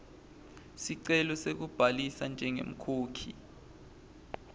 sicelo sekubhalisa njengemkhokhi